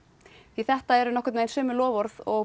því þetta eru sömu loforð og